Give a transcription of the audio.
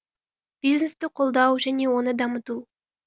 бизнесті қолдау және оны дамыту